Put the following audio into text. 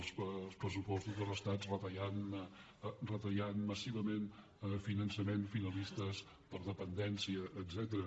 els pressupostos de l’estat que retallen massivament finançaments finalistes per a dependència etcètera